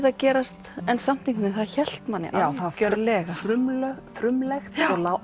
að gerast en það hélt manni algjörlega frumlegt frumlegt